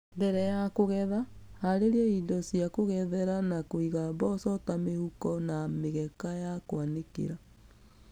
Mbere ya kũgetha, harĩria indo cia kũgethera na kũiga mboco ta mĩhuko na mĩgeka ya kũanĩkĩra.